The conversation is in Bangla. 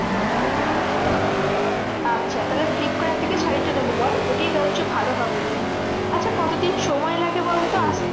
আচ্ছা তাহলে ফ্লিপকার্ড থেকে শাড়ীটা নেবো বল? ওটাই বলছো ভালো হবে। আচ্ছা কতদিন সময় লাগে বলতো আসতে?